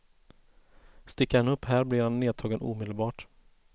Sticker han upp här blir han nedtagen omedelbart.